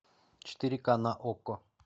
четыре ка на окко